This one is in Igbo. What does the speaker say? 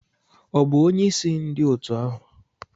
Ọ bụ onyeisi ndị otu ahụ?